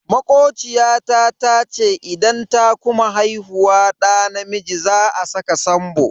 Makociya ta tace idan ta kuma haihuwar da namiji za a saka Sambo.